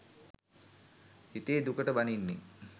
හිතේ දුකට බනින්නේ